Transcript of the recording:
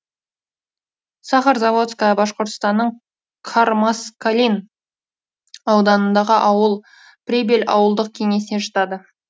сахарозаводская башқұртстанның кармаскалин ауданындағы ауыл прибель ауылдық кеңесіне жатады